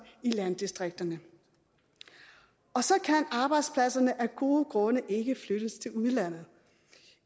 i landdistrikterne og så kan arbejdspladserne af gode grunde ikke flyttes til udlandet